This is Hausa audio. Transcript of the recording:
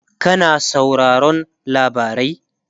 kana sauraron labarai?